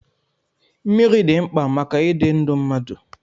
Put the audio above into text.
Mmiri dị mkpa maka ịdị ndụ mmadụ.